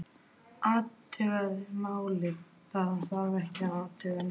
Athuga málið, það þarf ekki að athuga nein mál